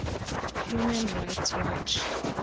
human rights watch